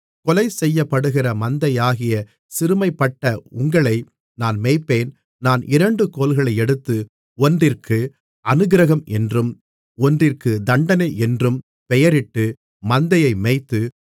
கொலை செய்யப்படுகிற மந்தையாகிய சிறுமைப்பட்ட உங்களை நான் மேய்ப்பேன் நான் இரண்டு கோல்களை எடுத்து ஒன்றிற்கு அநுக்கிரகம் என்றும் ஒன்றிற்கு தண்டனை என்றும் பெயரிட்டு மந்தையை மேய்த்து